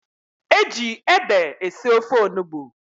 E ji ede esi ofe onugbu.